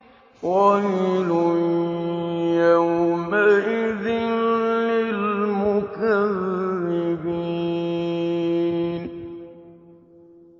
وَيْلٌ يَوْمَئِذٍ لِّلْمُكَذِّبِينَ